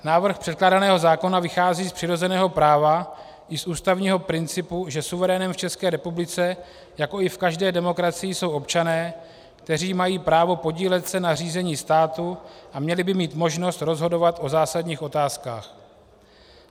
Návrh předkládaného zákona vychází z přirozeného práva i z ústavního principu, že suverénem v České republice, jako i v každé demokracii, jsou občané, kteří mají právo podílet se na řízení státu a měli by mít možnost rozhodovat o zásadních otázkách.